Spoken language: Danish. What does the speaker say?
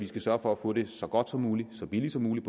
skal sørge for at få det så godt som muligt og så billigt som muligt